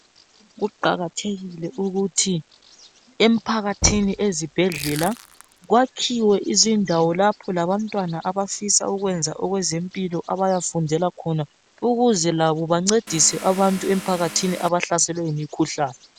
Kuqakathekile ukuthi emphakathini ezibhedlela kwakhiwe izakhiwo ukwenzela ukuthi abantwana abafisa ukuyafundela ezempilakahle bekwanise ukuphathisa emphakathini.